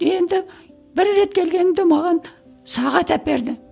енді бір рет келгенімде маған сағат әперді